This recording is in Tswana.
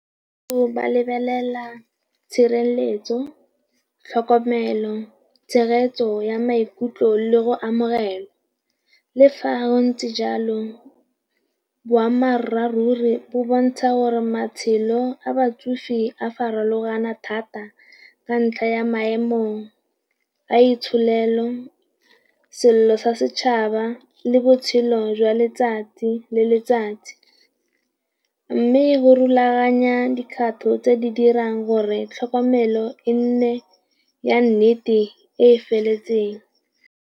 Ba lebelela tshireletso, tlhokomelo, tshegetso ya maikutlo le go amogela. Le fa go ntse jalo boammaruri bo bontsha gore matshelo a batsofe di a farologana thata ka ntlha ya maemo a itsholelo, sello sa setšhaba le botshelo jwa letsatsi le letsatsi. Mme go rulaganya dikgato tse di dirang gore tlhokomelo e nne ya nnete e e feletseng.